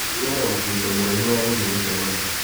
Ndinona mũbũto mũraihu wa gũthiĩ mũcemanio.